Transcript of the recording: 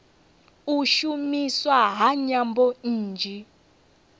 u shumiswa ha nyambo nnzhi